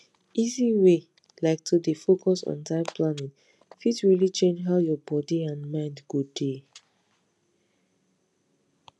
easy way like to dey focus on time planning fit really change how your body and mind go dey